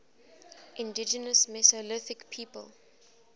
indigenous mesolithic people